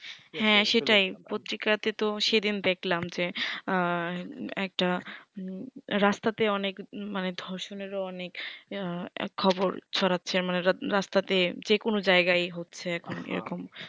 হ্যা সেটাই পত্রিকা তে তো সেদিন দেকলাম যে আঃ একটা রাস্তা তে অনেক মানে ধর্ষণ এর ও অনেক আঃ খবর ছড়াচ্ছে মানে রাস্তা তে যেকোনো জায়গায় হচ্ছে এখন এরকম